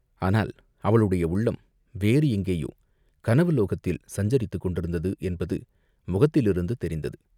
ஆனால் அவளுடைய உள்ளம் வேறு எங்கேயோ கனவுலோகத்தில் சஞ்சரித்துக் கொண்டிருந்தது என்பது முகத்திலிருந்து தெரிந்தது.